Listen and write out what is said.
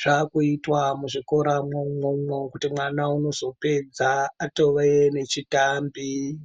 zvakuitwa muzvikoramwo umwomwo kuti mwana unozopedza atove nechitambi.